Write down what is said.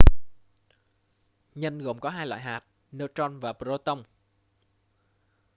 nhân gồm có hai loại hạt neutron và proton